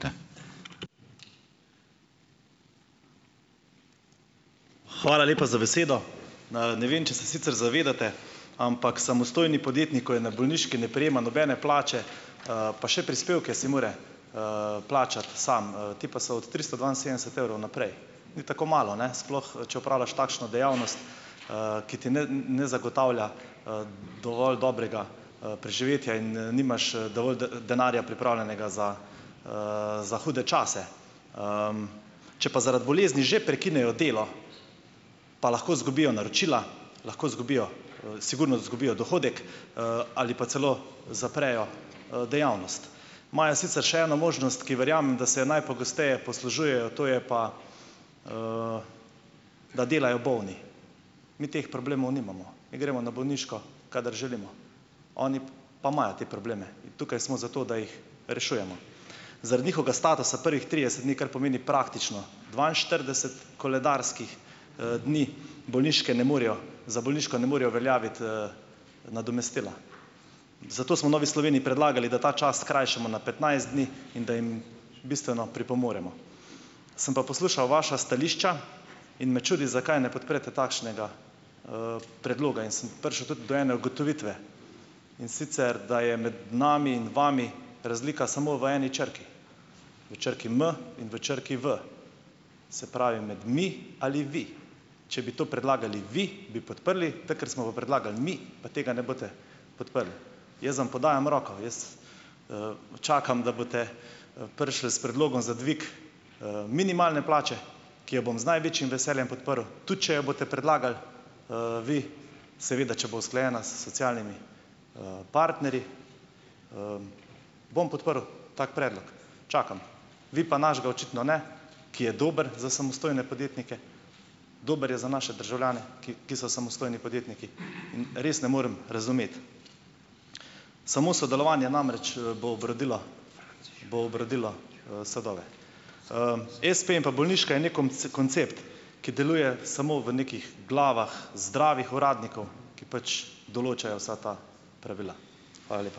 Hvala lepa za besedo. ne vem, če se sicer zavedate, ampak samostojni podjetnik, ko je na bolniški, ne prejema nobene plače, pa še prispevke si mora, plačati sam, ti pa so od tristo dvainsedemdeset evrov naprej. Ni tako malo, ne, sploh, če opravljaš takšno dejavnost, ki ti ne ne zagotavlja, dovolj dobrega, preživetja in, nimaš, dovolj denarja pripravljenega za, za hude čase. Če pa zaradi bolezni že prekinejo delo, pa lahko izgubijo naročila, lahko izgubijo, sigurno zgubijo dohodek, ali pa celo zaprejo, dejavnost. Imajo sicer še eno možnost, ki verjamem, da se jo najpogosteje poslužujejo, to je pa, da delajo bolni. Mi teh problemov nimamo, mi gremo na bolniško, kadar želimo. Oni pa imajo te probleme, in tukaj smo zato, da jih rešujemo. Zaradi njihovega statusa prvih trideset dni, kar pomeni praktično dvainštirideset koledarskih, dni, bolniške ne morajo za bolniško ne morejo uveljaviti, nadomestila. Zato smo v Novi Sloveniji predlagali, da ta čas skrajšamo na petnajst dni, in da jim bistveno pripomoremo. Sem pa poslušal vaša stališča in me čudi, zakaj ne podprete takšnega, predloga. In sem prišel tudi do ene ugotovitve, in sicer, da je med nami in vami razlika samo v eni črki - v črki "m" in v črki "v", se pravi, med "mi" ali "vi". Če bi to predlagali vi, bi podprli, tako ker smo pa predlagal mi, pa tega ne boste podprli. Jaz vam podajam roko, jaz, čakam, da boste, prišli s predlogom za dvig, minimalne plače, ki jo bom z največjim veseljem podprl, tudi če jo boste predlagali, vi, seveda, če bo usklajena s socialnimi, partnerji. bom podprl tak predlog, čakam. Vi pa našega očitno ne, ki je dober za samostojne podjetnike, dober je za naše državljane, ki ki so samostojni podjetniki. In res ne morem razumeti, samo sodelovanje namreč, bo obrodilo bo obrodilo, sadove. Espe in pa bolniška je neki koncept, ki deluje samo v nekih glavah zdravih uradnikov, ki pač določajo vsa ta pravila. Hvala lepa.